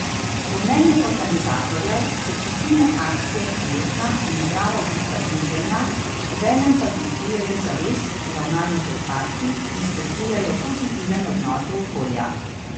Po mnenju organizatorjev so čistilne akcije prijetna in zdrava oblika druženja, obenem pa dvigujejo zavest o ravnanju z odpadki in spodbujajo pozitiven odnos do okolja.